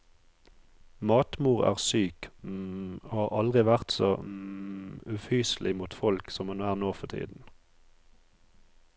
Matmor er syk og har aldri vært så ufyselig mot folk som hun er nå for tiden.